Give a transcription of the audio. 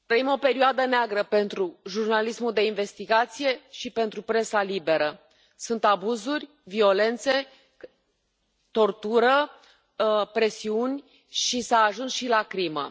Doamna președinte, trăim o perioadă neagră pentru jurnalismul de investigație și pentru presa liberă. Sunt abuzuri, violențe, tortură, presiuni și s a ajuns și la crimă.